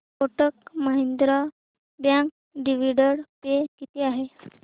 Kotak Mahindra bank dividend pay किती आहे